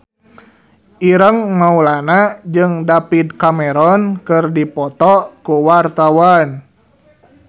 Ireng Maulana jeung David Cameron keur dipoto ku wartawan